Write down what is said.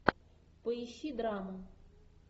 поищи драму